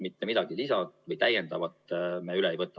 Mitte midagi lisa või täiendavat me üle ei võta.